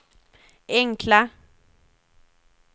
enkla